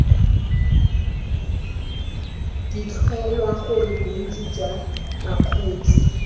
fitlhelwa gore bontsi jwa bakgweetsi